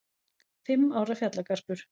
Fimm ára fjallagarpur